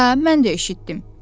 Hə, mən də eşitdim.